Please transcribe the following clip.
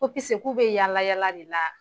Ko pise k'u bɛ yaala yaala de la.